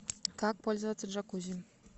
как пользоваться джакузи